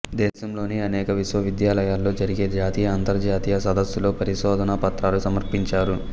దేశంలోని అనేక విశ్వవిద్యాలయాల్లో జరిగే జాతీయ అంతర్జాతీయ సదస్సుల్లో పరిశోధనా పత్రాలు సమర్పించారు